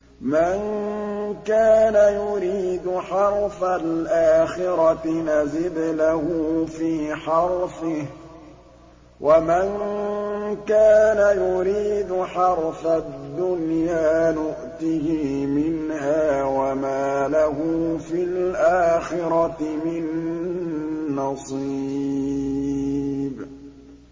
مَن كَانَ يُرِيدُ حَرْثَ الْآخِرَةِ نَزِدْ لَهُ فِي حَرْثِهِ ۖ وَمَن كَانَ يُرِيدُ حَرْثَ الدُّنْيَا نُؤْتِهِ مِنْهَا وَمَا لَهُ فِي الْآخِرَةِ مِن نَّصِيبٍ